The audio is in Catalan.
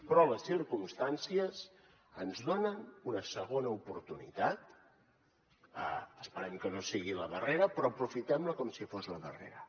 però les circumstàncies ens donen una segona oportunitat esperem que no sigui la darrera però aprofitem la com si fos la darrera